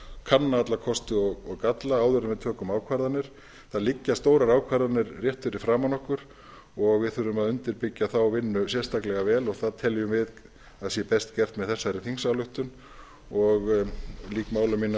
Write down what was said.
kanna alla kosti og galla áður en við tökum ákvarðanir það liggja stórar ákvarðanir rétt fyrir framan okkur og við þurfum að undirbyggja þá vinnu sérstaklega vel og það teljum við að sé best gert með þessari þingsályktun og lýk máli mínu á